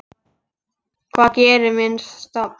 Hvað gerir minni stofn?